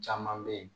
Caman bɛ yen